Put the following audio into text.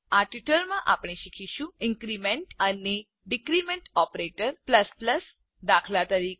આ ટ્યુટોરીયલમાં આપણે શીખીશું ઇન્ક્રીમેન્ટ અને ડીક્રીમેન્ટ ઓપરેટર દાત